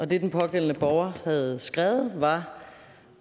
det den pågældende borger havde skrevet var